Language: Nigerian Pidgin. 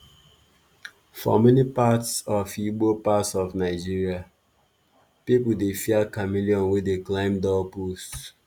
for many parts of igbo parts of nigeria people dey fear chameleon wey dey climb doorpost.